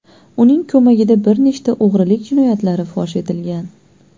Uning ko‘magida bir nechta o‘g‘rilik jinoyatlari fosh etilgan.